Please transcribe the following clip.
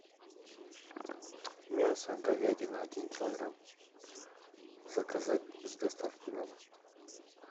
мясо говядина один килограмм заказать с доставкой на дом